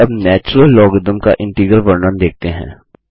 चलिए अब natural logarithm का इंटीग्रल वर्णन देखते हैं